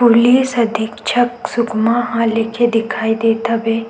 Police अधीक्षक सुकमा ह लिखे दिखाई देत हवे।